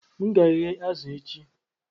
M ga-eghe azụ̀ echi